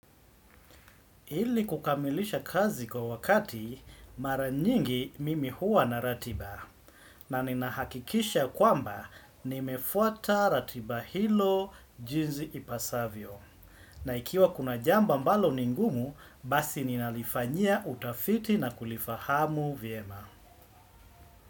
Hili kukamilisha kazi kwa wakati mara nyingi mimi huwa na ratiba na nina hakikisha kwamba nimefuata ratiba hilo jinzi ipasavyo. Na ikiwa kuna jambo ambalo ningumu basi ninalifanyia utafiti na kulifahamu vyema.